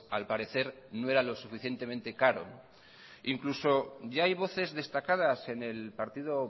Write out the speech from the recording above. al parecer no era lo suficientemente caro incluso ya hay voces destacadas en el partido